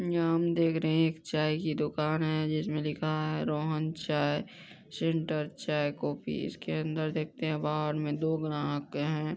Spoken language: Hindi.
यहाँ हम देख रहे हैं एक चाय की दुकान है जिसमें लिखा हैं रोहन चाय सेंटर चाय कॉफी इसके अंदर देखते हैं बहार मे दो ग्राहक हैं।